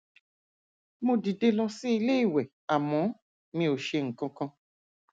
mo dìde lọ sí ilé ìwẹ àmọ mi ò ṣe nǹkan kan